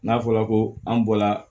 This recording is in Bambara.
N'a fɔra ko an bɔla